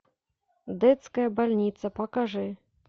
детская больница покажи